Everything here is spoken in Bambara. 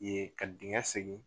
Ye ka dingɛn segen.